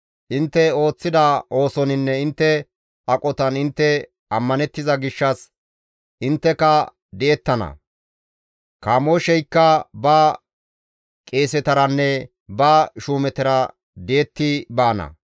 Intte ooththida oosoninne intte aqotan intte ammanettiza gishshas intteka di7ettana; Kamoosheykka ba qeesetaranne ba shuumetara di7etti baana.